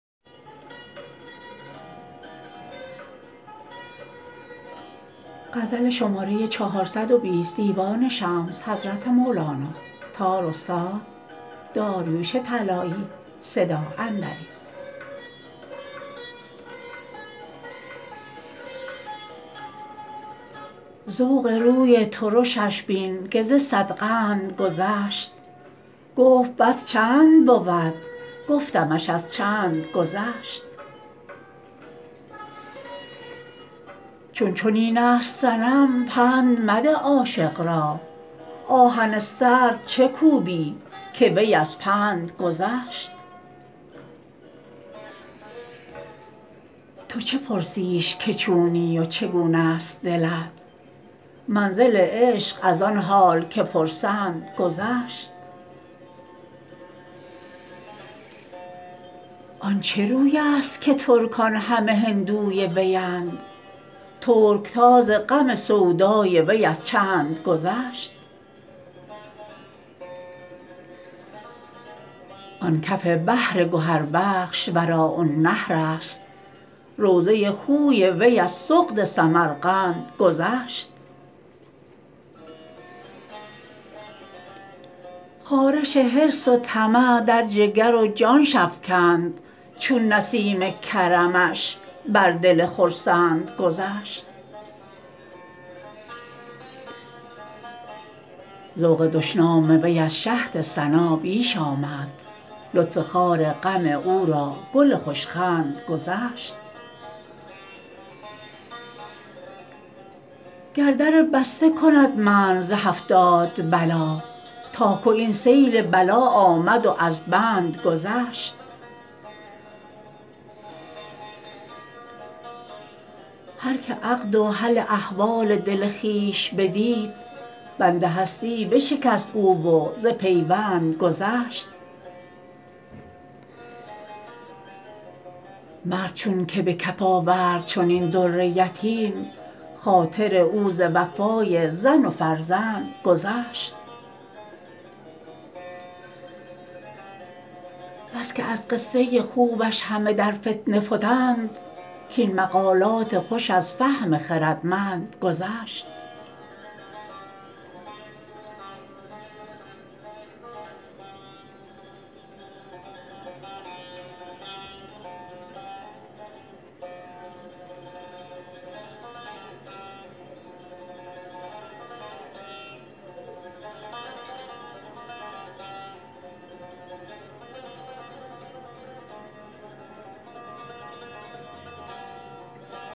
ذوق روی ترشش بین که ز صد قند گذشت گفت بس چند بود گفتمش از چند گذشت چون چنین است صنم پند مده عاشق را آهن سرد چه کوبی که وی از پند گذشت تو چه پرسیش که چونی و چگونه است دلت منزل عشق از آن حال که پرسند گذشت آن چه روی است که ترکان همه هندوی ویند ترک تاز غم سودای وی از چند گذشت آن کف بحر گهربخش وراء النهر است روضه خوی وی از سغد سمرقند گذشت خارش حرص و طمع در جگر و جانش افکند چون نسیم کرمش بر دل خرسند گذشت ذوق دشنام وی از شهد ثنا بیش آمد لطف خار غم او را گل خوش خند گذشت گر در بسته کند منع ز هفتاد بلا تا که این سیل بلا آمد و از بند گذشت هر کی عقد و حل احوال دل خویش بدید بند هستی بشکست او و ز پیوند گذشت مرد چونک به کف آورد چنین در یتیم خاطر او ز وفای زن و فرزند گذشت بس که از قصه خوبش همه در فتنه فتند کاین مقالات خوش از فهم خردمند گذشت